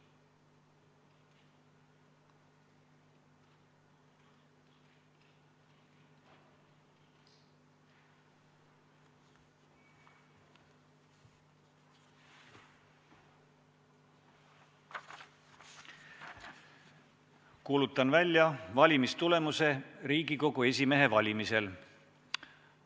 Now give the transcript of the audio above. Kuulutan välja valimistulemused Riigikogu esimehe valimisel.